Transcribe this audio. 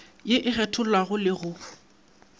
ye e kgethollago le go